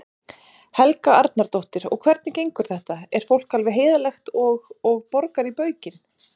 Helga Arnardóttir: Og hvernig gengur þetta, er fólk alveg heiðarlegt og, og borgar í baukinn?